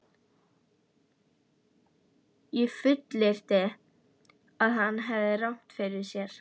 Ég fullyrti, að hann hefði rangt fyrir sér.